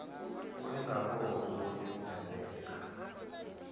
uri nga ngoho zwo ḓisendeka